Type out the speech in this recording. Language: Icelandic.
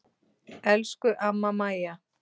Elsku amma Maja.